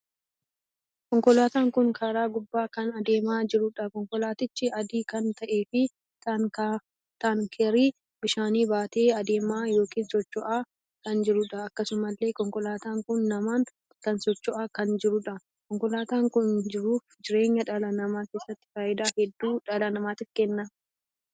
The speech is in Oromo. Konkolaataan kun karaa gubbaa kan adeemaa jiruudha. konkolaatichi adii kan taheef taankerii bishaanii baatee adeemaa ykn socho'aa kan jiruudha. akkasumallee konkolaataan kun namaan kan sochoo'aa kan jirudha. konkolaataan kun jiruuf jireenya dhala namaa keessatti faayidaa hedduu dhala namaatiif kenna.